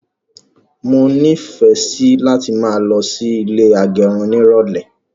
Mọ ni ìfẹ sí láti máa lọ sí ilé agẹrun ní irọlẹ